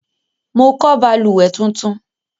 Mo kọ́ balùwẹ́ tuntun